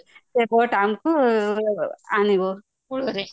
boat ଆମକୁ ଆଣିବ କୂଳରେ